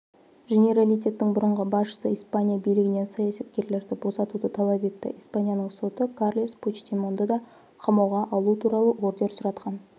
женералитеттің бұрынғы басшысы испания билігінен саясаткерлерді босатуды талап етті испанияның соты карлес пучдемонды да қамауға алу туралы ордер сұратқан